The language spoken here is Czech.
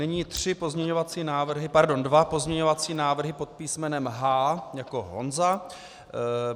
Nyní tři pozměňovací návrhy, pardon, dva pozměňovací návrhy pod písmenem H jako Honza.